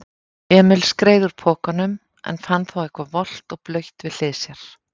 Emil skreið úr pokanum en fann þá eitthvað volgt og blautt við hlið sér.